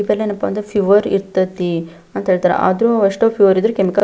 ಇದೇನಪ್ಪ ಅಂದ್ರೆ ಫೀವರ್ ಇರತೈತಿ ಅಂತ ಹೇಳ್ತಾರೆ ಆದ್ರೆ ಅಷ್ಟೇ ಫೀವರ್ ಇದ್ರೂ ಕೆಮಿಕಲ್ --